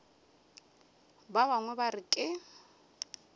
ba bangwe ba re ke